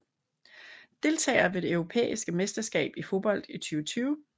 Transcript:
Deltagere ved det europæiske mesterskab i fodbold 2020